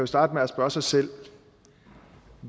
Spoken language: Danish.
starte med at spørge sig selv